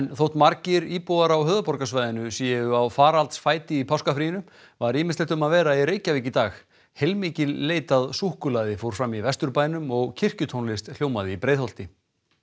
þótt margir íbúar á höfuðborgarsvæðinu séu á faraldsfæti í páskafrínu var ýmislegt um að vera í Reykjavík í dag heilmikil leit að súkkulaði fór fram í Vesturbænum og kirkjutónlist hljómaði í Breiðholti